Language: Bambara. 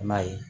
I m'a ye